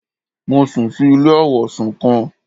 Mo sùn si ilé àwọ̀sùn kan